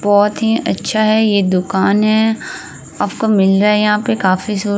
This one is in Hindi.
बोहत ही अच्छा है। ये दुकान है। आपको मिल रहा है यहाँ पे काफी शो --